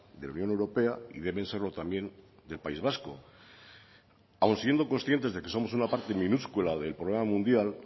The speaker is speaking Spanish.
de la unión europea y deben serlo también del país vasco aun siendo conscientes de que somos una parte minúscula del problema mundial